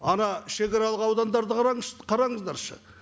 ана шегаралық аудандарды қараңызшы қарыңыздаршы